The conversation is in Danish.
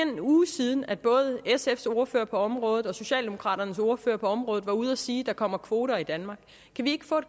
en uge siden at både sfs ordfører på området og socialdemokraternes ordfører på området var ude at sige at der kommer kvoter i danmark kan vi ikke få